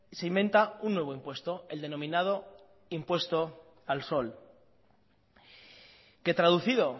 se inventa un nuevo impuesto el denominado impuesto al sol que traducido